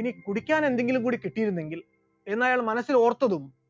ഇനി കുടിക്കാൻ എന്തെങ്കിലും കിട്ടിയിരുന്നെങ്കിൽ എന്ന് അയാൾ മനസ്സിൽ ഓർത്തതും